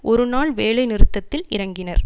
ஒரு நாள் வேலை நிறுத்தத்தில் இறங்கினர்